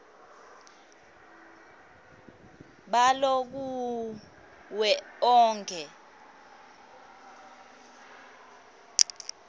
balo kuwo onkhe